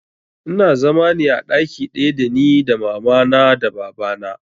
Ina zama ne a ɗaki ɗaya da ni da mama na da baba na